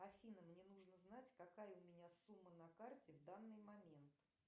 афина мне нужно знать какая у меня сумма на карте в данный момент